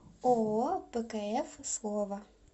ооо пкф слово